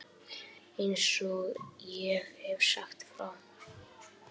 Eins og ég hef sagt frá.